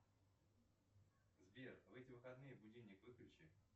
сбер в эти выходные будильник выключи